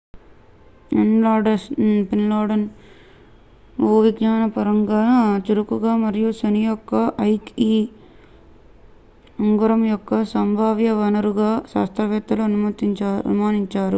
Enceladus భూవిజ్ఞానపరంగా చురుకుగా మరియు శని యొక్క ఐక్e ఉంగరం యొక్క సంభావ్య వనరుగా శాస్త్రవేత్తలు అనుమానించారు